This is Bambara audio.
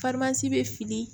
bɛ fili